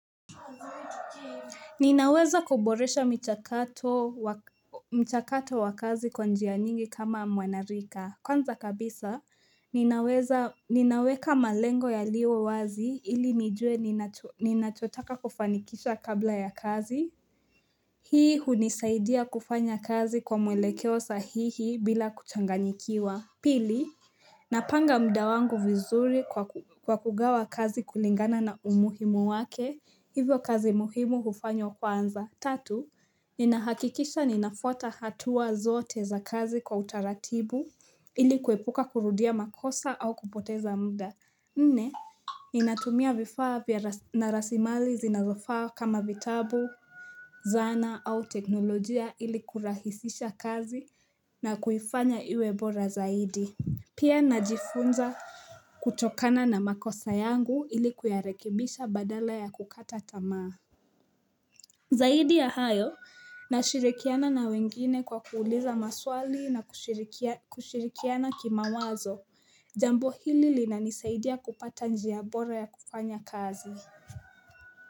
Ninaweza kuboresha mchakato wa kazi kwa njia nyingi kama mwenarika Kwanza kabisa, ninaweka malengo yaliyo wazi ili nijue ninachotaka kufanikisha kabla ya kazi Hii hunisaidia kufanya kazi kwa mwelekeo sahihi bila kuchanganyikiwa Pili, napanga muda wangu vizuri kwa kugawa kazi kulingana na umuhimo wake Hivyo kazi muhimu hufanywa kwanza Tatu, ninahakikisha ninafuata hatua zote za kazi kwa utaratibu ili kuepuka kurudia makosa au kupoteza muda Nne, ninatumia vifaa na rasimali zinazofaa kama vitabu, zana au teknolojia ili kurahisisha kazi na kuifanya iwe bora zaidi. Pia najifunza kutokana na makosa yangu ili kuyarekebisha badala ya kukata tamaa Zaidi ya hayo nashirikiana na wengine kwa kuuliza maswali na kushirikiana kimawazo jambo hili linanisaidia kupata njia bora ya kufanya kazi.